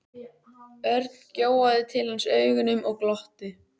Örn gjóaði til hans augunum og glotti.